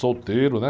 Solteiro, né?